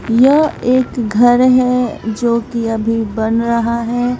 यह एक घर है जो की अभी बन रहा हैं।